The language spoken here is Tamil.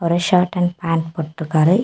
ஷர்ட் அண்ட் பேண்ட் போட்டுருக்காரு.